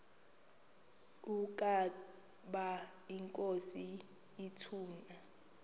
ukaba inkosi ituna